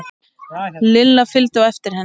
Lilla fylgdu á eftir henni.